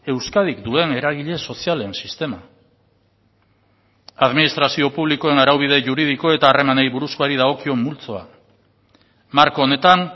euskadik duen eragile sozialen sistema administrazio publikoen araubide juridiko eta harremanei buruzkoari dagokion multzoa marko honetan